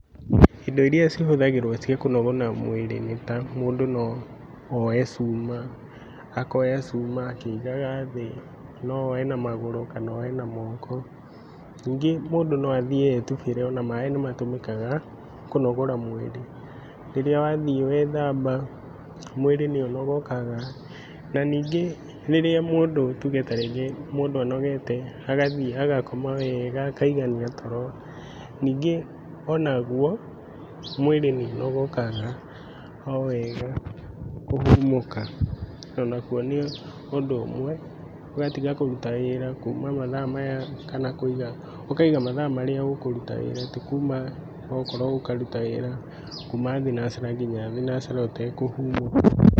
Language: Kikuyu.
Indo iria cihũthagĩrwo ciakũnogora mwĩrĩ nĩta; mũndũ nooe cuma akĩigaga thĩ. Nooe na magũrũ kana oe na moko. Nyingĩ mũndũ no athiĩ etubĩre ona maĩ nĩmatũmĩkaga kũnogora mwĩrĩ, rĩrĩa wathiĩ wethamba, mwĩrĩ nĩũnogokaga. Na nyingĩ rĩrĩa mũndũ tuge tarĩrĩa mũndũ anogete agathiĩ agakoma wega akaigania toro, nyingĩ onaguo mwĩrĩ nĩũnogokaga kũhumũka. Onaguo nĩũndũ ũmwe ũgatiga kũruta wĩra kuuma mathaa maya nginya ka kũiga, ũkaiga mathaa marĩa ũkũruta wĩra ti kuuma, okorwo ũkaruta wĩra kuuma thinacara nginya nginya thinacara ũtekũhumũka.